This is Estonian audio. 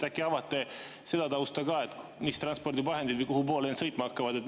Äkki avate seda tausta, mis transpordivahendid ja kuhupoole sõitma hakkavad?